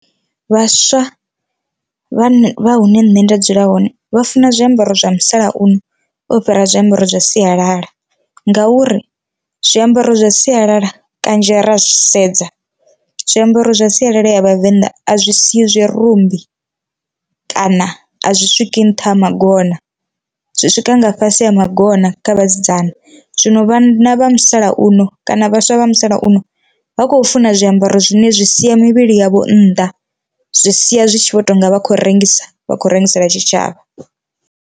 Vhaswa vha vha hune nṋe nda dzula hone vha funa zwiambaro zwa musalauno o fhira zwiambaro zwa sialala, ngauri zwiambaro zwa sialala kanzhi ra sedza zwiambaro zwa sialala ya vhavenḓa a zwi siyi zwirumbi kana a zwi swiki nṱha ha magona zwi swika nga fhasi ha magona kha vhasidzana, zwino vha musalauno kana vhaswa vha musalauno vha khou funa zwiambaro zwine zwi sia mivhili yavho nnḓa zwi sia zwi tshi vho tonga vha khou rengisa vha khou rengisela tshitshavha.